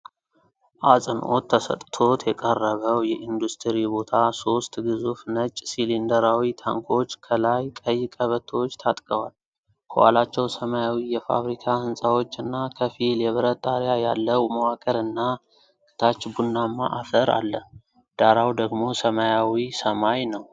አጽንዖት ተሰጥቶት የቀረበው የኢንዱስትሪ ቦታ ሦስት ግዙፍ ነጭ ሲሊንደራዊ ታንኮች ከላይ ቀይ ቀበቶዎች ታጥቀዋል። ከኋላቸው ሰማያዊ የፋብሪካ ህንጻዎች እና ከፊል የብረት ጣሪያ ያለው መዋቅርና ከታች ቡናማ አፈር አለ፤ ዳራው ደግሞ ሰማያዊ ሰማይ ነው።